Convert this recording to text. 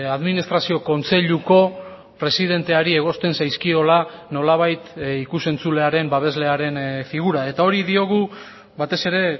administrazio kontseiluko presidenteari egozten zaizkiola nolabait ikus entzulearen babeslearen figura eta hori diogu batez ere